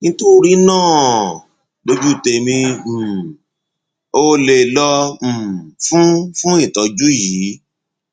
nítorí náà lójú tèmi um o lè lọ um fún fún ìtọjú yìí